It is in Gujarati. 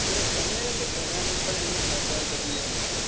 તો તમને નઈ લાગતું environment પર એની અસર થતી હોય